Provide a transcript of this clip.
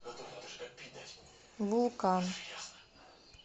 вулкан